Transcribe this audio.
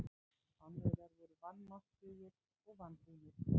Spánverjar voru vanmáttugir og vanbúnir.